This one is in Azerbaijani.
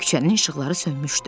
Küçənin işıqları sönmüşdü.